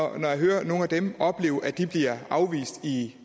og jeg hører at nogle af dem oplevet at de bliver afvist i